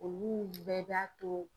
Olu bɛɛ b'a to